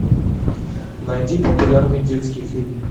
найди популярный детский фильм